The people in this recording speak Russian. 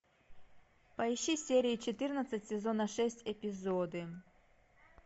поищи сертю четырнадцать сезона шесть эпизоды